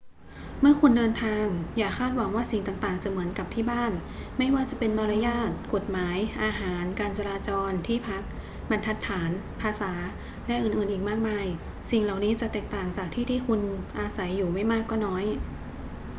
เมื่อคุณเดินทาง อย่าคาดหวังว่าสิ่งต่างๆ จะเหมือนกับ ที่บ้าน ไม่ว่าจะเป็นมารยาท กฎหมาย อาหาร การจราจร ที่พัก บรรทัดฐาน ภาษา และอื่นๆ อีกมากมาย สิ่งเหล่านี้จะแตกต่างจากที่ที่คุณอาศัยอยู่ไม่มากก็น้อย